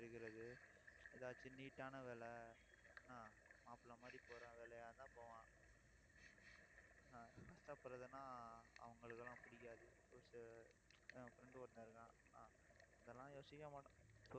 இருக்கிறது ஏதாச்சும் neat ஆன வேலை என்ன மாப்பிளை மாதிரி போற வேலையா இருந்தா போவான் ஆஹ் கஷ்டப்பறதுன்னா அவங்களுக்கு எல்லாம் பிடிக்காது. என் friend ஒருத்தன் இருக்கான். ஆஹ் இதெல்லாம் யோசிக்கவே மாட்டான்